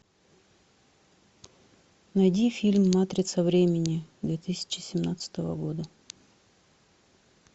найди фильм матрица времени две тысячи семнадцатого года